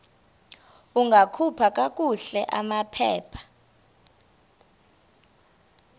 ungakhupha kakuhle amaphepha